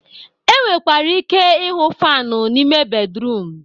E nwekwara ike ịhụ fanụ n'ime bedruum